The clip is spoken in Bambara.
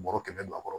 Bɔrɔ kɛmɛ don a kɔrɔ